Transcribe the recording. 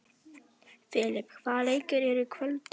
Filip, hvaða leikir eru í kvöld?